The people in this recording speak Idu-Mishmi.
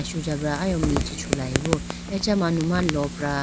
sujabra ayiwo me chee chulayibo acha manuma lopra.